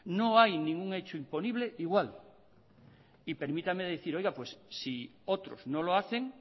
no hay ningún hecho imponible igual y permítame decir oiga pues si otros no lo hacen